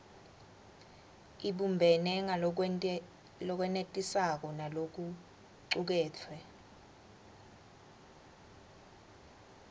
ibumbene ngalokwenetisako nalokucuketfwe